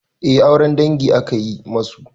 Eh auren dangi aka yi musu.